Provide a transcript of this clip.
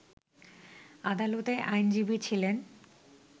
আদালতে আইনজীবী ছিলেন